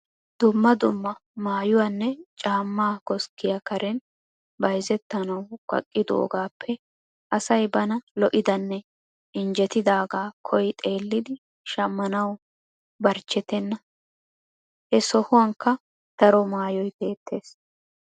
Dumma dumma maayuwanne. caammaa koskkiya karen bayzettanawu kaqqidoogaappe asay bana lo'idanne injjetidaagaa koyi xeellidi shammanawu barchchetenna. He sohuwankka daro maayoy beettees.